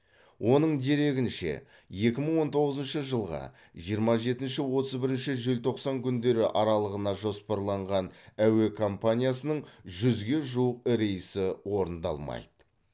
оның дерегінше екі мың он тоғызыншы жылғы жиырма жетінші отыз бірінші желтоқсан күндері аралығына жоспарланған әуе компаниясының жүзге жуық рейсі орындалмайды